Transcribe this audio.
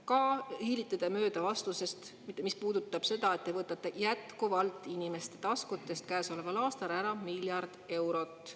Ka hiilite te mööda vastusest, mis puudutab seda, et te võtate inimeste taskutest käesoleval aastal jätkuvalt ära miljard eurot.